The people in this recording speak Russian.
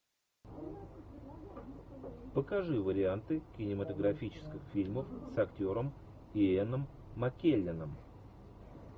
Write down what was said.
покажи варианты кинематографических фильмов с актером иэном маккелленом